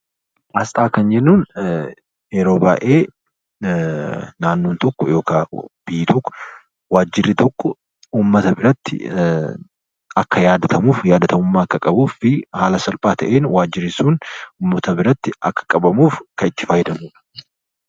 Asxaa kan jennuun yeroo baay'ee naannoon tokko yookaan biyyi tokko, waajjirri tokko, uummata biratti akka yaadatamuuf, yaadatamummaa akka qabuu fi haala salphaa ta'een, uummata biratti akka qabamuuf kan itti fayyadamudha.